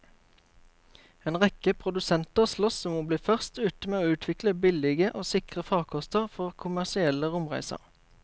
En rekke produsenter sloss om å bli først ute med å utvikle billige og sikre farkoster for kommersielle romreiser.